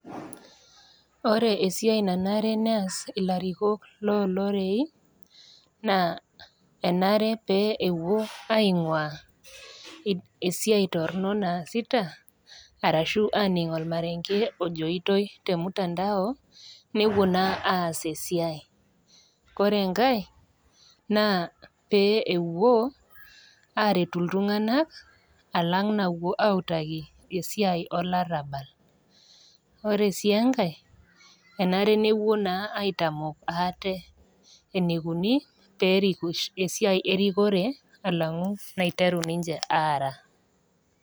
Ore esiai nanare neas ilarikok loo irorei, naa enare pee epuo aing'uaa esiai torono naasita arashu aning' olmarenge ojoitoi tolmutandao, nepuo naa aas esiai. Ore enkai naa pee epuo aretu iltung'ana alang' nawuo autaki esiai olarabal. Ore sii enkai, enare naa nepuo aitamok aate eneikuni peerik esiai erikore alang'u naiteru ninche aara.